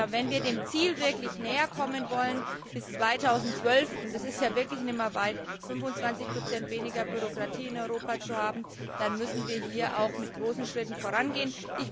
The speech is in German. Wenn wir dem Ziel wirklich näher kommen wollen, bis 2012 und das ist ja wirklich nicht mehr lange 25 weniger Bürokratie in Europa zu haben, dann müssen wir hier mit großen Schritten vorangehen.